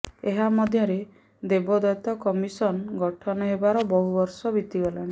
ଏହା ମଧ୍ୟରେ ଦେବୋତ୍ତର କମିସନ୍ ଗଠନ ହେବାର ବହୁ ବର୍ଷ ବିତିଗଲାଣି